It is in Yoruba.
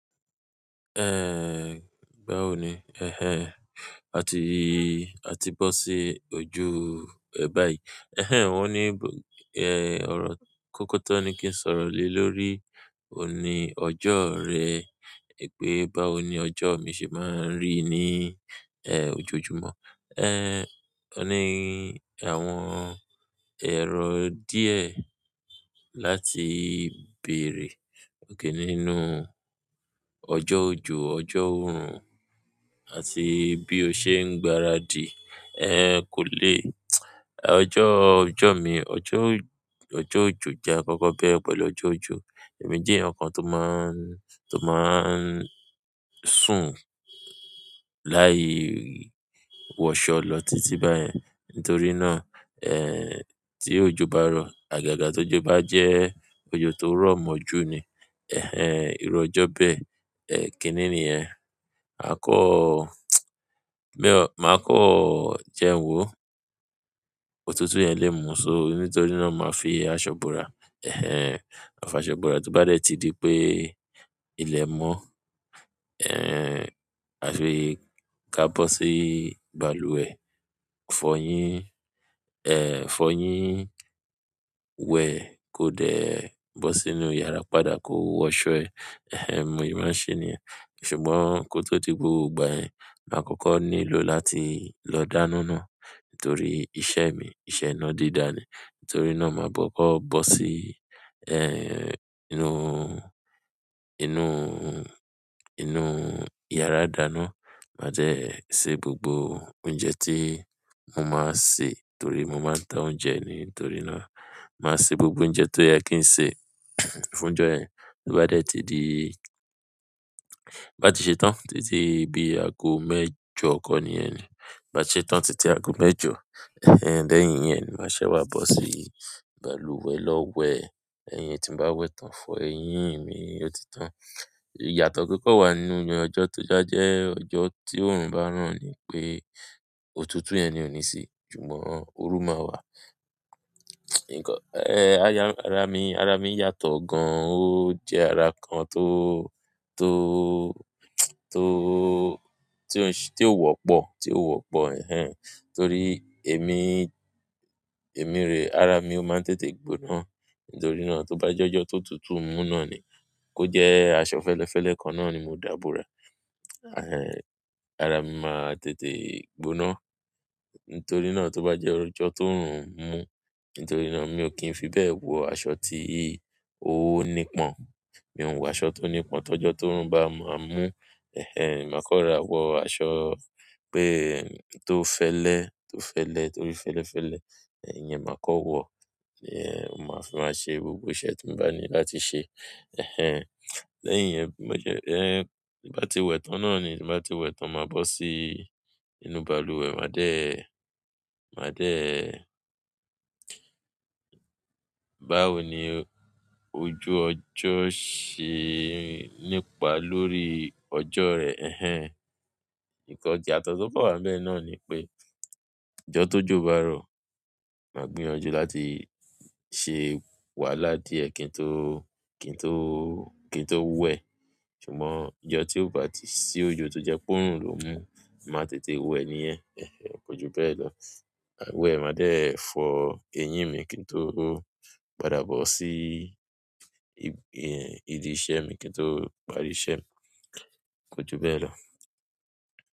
Eh, báwo ni? Eh-hen, a ti, a ti bọ sí ojú, eh, báyìí. Eh-hen, wọ́n ní, e, ọ̀rọ̀ kọ́kọ́ tọ́ ni kí n sọ̀rọ̀ lé lórí, òní. Ọjọ́ rẹ. Pé báwo ni ọjọ́ mi ṣe máa ń rí ní, eh, ojoojúmọ́. Eh, ó ní àwọn èrò díẹ̀ láti bèrè. Ó ké nínú ọjọ́ òjò, ọjọ́ òrùn àti bí ó ṣe ń gbaradì, eh, kò le. Ọjọ́, ọjọ́ mi, ọjọ́, ọjọ́ òjò jẹ́ akọ́kọ́ bẹ́ẹ̀ pẹ̀lú ọjọ́ òjò. Èmi jẹ́ ẹnìkan tó máa ń, tó máa ń sùn láì wọṣọ lọ títí báyẹn. Nítorí náà, eh, tí òjò bá rọ̀, àgàgà tó jọ bá jẹ́ òjò tó rọ̀ mọ́ jù ni. Ehn ehn iru ọjọ bẹ́ẹ̀ kini niyen mako mako jewo òtútù yen le mu. So nítorí náà, màá fi aṣọ bora, eh-hen, màfàso bora tó bá dẹ̀ tí di pé ilẹ̀ mọ́, eh, à fi ka bọ́ sí balùwẹ̀. Fọyín, eh, fọyín wẹ̀ kó dẹ̀ bọ́ sí inú yàrá padà kó wọṣọ ẹ. Eh-hen, mo ì máa ń ṣe nìyẹn. Ṣùgbọ́n kó tó di gbogbo ìgbà yẹn, màá kọ́kọ́ nílò láti lọ dáná náà nítorí iṣẹ́ mi, iṣẹ́ iná dídá ni. Nítorí náà, màá bọ́ kọ́, bọ́ sí, eh, inú, inú, inú yàrá ìdáná. Màá jẹ́ ṣe gbogbo oúnjẹ tí mo máa sè torí mo máa ń tọ́ oúnjẹ ni. Nítorí náà, màá ṣe gbogbo oúnjẹ tó yẹ kí n sè fún ọjọ́ yẹn. Bí ó bá dẹ̀ ti di, bá ti ṣe tán títí bí àgọ́ mẹ́jọ kọ́ ni ẹni. Bá ṣe tán títí àgọ́ mẹ́jọ, eh-hen, lẹ́yìn yẹn ni màá ṣẹ́ wá bọ́ sí balùwẹ̀ lọ wẹ̀. Ẹ̀yin tí bá wẹ̀ tán, fọ eyín mi, ó ti tán. Iyato to kan nínú ọjọ to ba je ọjọ ti orun ba ran nipe òtútù yen ni oni si ṣùgbọ́n oru ma wà. Ìkọ́, eh, ara mi, ara mi yàtọ̀ gan. Ó jẹ́ ara kan tó, tó, tó, tí ó ń ṣe, tí ó wọ́pọ̀, tí ó wọ́pọ̀, eh-hen. Torí èmi, èmi rè ara mi ó máa ń tètè gbóná. Nítorí náà, tó bá jẹ́ ọjọ́ tó tùtù mú náà ni kó jẹ́ aṣọ fẹ́lẹ́fẹ́lẹ́ kan náà ni mo dàbọ̀ra. Eh-hen, ara mi máa tètè gbóná. Nítorí náà, tó bá jẹ́ ọjọ́ tó òrùn mú, nítorí náà mi ò kí ń fi bẹ́ẹ̀ wọ aṣọ tí o ní pọ́n. Mi ò ń wọ aṣọ tó ní pọ́n tó jọ́ tó òrùn bá máa mú. Eh-hen, màá kọ́ra wọ aṣọ pé tó fẹ́lẹ́, tó fẹ́lẹ́ torí fẹ́lẹ́fẹ́lẹ́, ẹyin màá kọ́ wọ. Ehn, mo máa fi máa ṣe gbogbo iṣẹ́ tí mo bá ní láti ṣe. Eh-hen, lẹ́yìn yẹn, mo jẹ́, eh, bí bá ti wẹ̀ tán náà ni, tí bá ti wẹ̀ tán, màá bọ́ sí inú balùwẹ̀, màá dẹ̀, màá dẹ̀. Báwo ni ojú ọjọ́ ṣe nípa lórí ọjọ́ rẹ? Eh-hen, ìkọ́ ìyàtọ̀ tó bá wà níbẹ̀ náà ni pé ọjọ́ tó jọ bá rọ̀, màá gbìyànjú láti ṣe wàhálà díẹ̀ kí n tó, kí n tó, kí n tó wẹ̀. Ṣùgbọ́n ọjọ́ tí ó bá ti sí ojo tó jẹ́ pé òrùn ló mú, màá tètè wẹ̀ níyẹn. Eh-hen, kọju bẹ́ẹ̀ lọ. Bẹ́ẹ̀ ma de fo eyín mi ki n to pàdà bosi ibi iṣẹ́ mi ki n to parí iṣẹ́ ko ju bẹ́ẹ̀ lo.